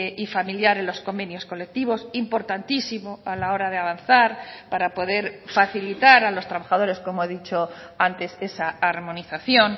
y familiar en los convenios colectivos importantísimo a la hora de avanzar para poder facilitar a los trabajadores como he dicho antes esa armonización